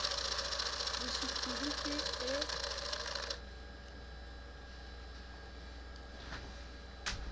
ho se tsube ke e